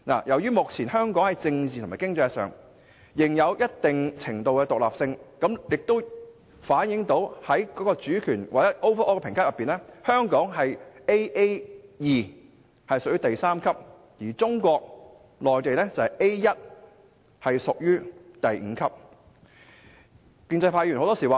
香港目前在政治及經濟上仍有一定程度的獨立性，這反映了在整體評級之上：香港的評級為 Aa2， 屬第三級，而中國內地的評級為 A1， 屬第五級。